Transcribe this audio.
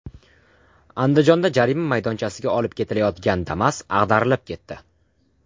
Andijonda jarima maydonchasiga olib ketilayotgan Damas ag‘darilib ketdi.